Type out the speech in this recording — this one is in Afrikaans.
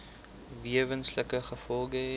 wesenlike gevolge hê